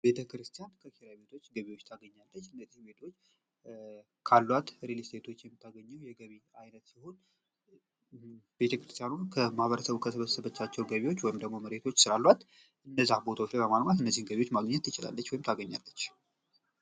ቤተክርስቲያን ከኪራይ ቤቶች ገቢዎች ታገኛለች። እነዚህ ቤቶች ካሏት ሬሊስቴቶች የምታገኘው የገቢ አይነት ሲሆን ቤተክርስቲያን ከማህበረሰቡ ከሰበሰበቻቸው ገቢዎች ወይም ደሞ መሬቶች ስላሏት እነዚህ ቦታዎችን በማልማት ገቢዎች ማግኘት ትችላለች ወይም ታገኛለች።